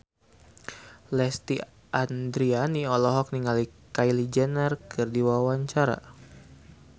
Lesti Andryani olohok ningali Kylie Jenner keur diwawancara